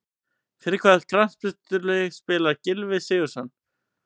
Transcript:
Fyrir hvaða knattspyrnulið spilar Gylfi Sigurðsson?